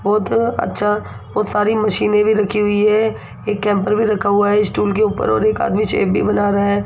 बहोत अच्छा बहोत सारी मशीनें भी रखी हुई हैं एक कैम्पर भी रखा हुआ हैं स्टूल के ऊपर और एक आदमी शेक भी बना रहा हैं।